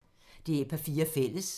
DR P4 Fælles